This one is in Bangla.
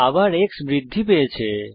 আবার x এর মান বৃদ্ধি পেয়েছে